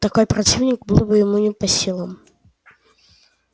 такой противник был ему не по силам